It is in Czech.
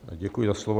Děkuji za slovo.